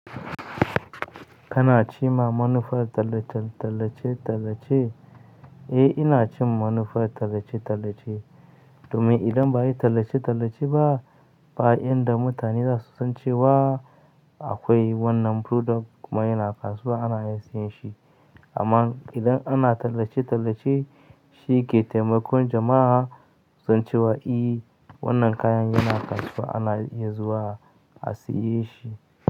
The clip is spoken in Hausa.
Kana ci ma manufa tallace-tallace. Eh ina cin manufan tallace-tallace. Domin idan ba a yi tallace-tallace ba, ba inda mutane za su san cewa a- akwai wannan product kuma yana kasuwa ana iya siyan shi. Amma idan ana tallace-tallace shi, ke taimakon jama'a su san cewa, "e wannan kayan yana kasuwa ana iya zuwa a saye shi."